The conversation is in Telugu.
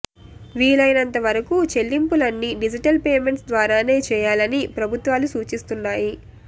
వీలైనంత వరకు చెల్లింపులన్నీ డిజిటల్ పేమెంట్స్ ద్వారానే చేయాలని ప్రభుత్వాలు సూచిస్తున్నాయి